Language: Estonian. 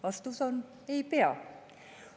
Vastus on: ei pea.